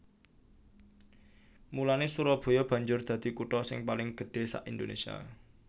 Mulanè Surabaya banjur dadi kutha sing paling gedhé sak Indonésia